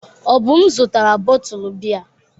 Obum zụtara bọtụlụ biya.